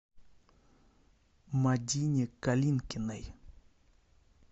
мадине калинкиной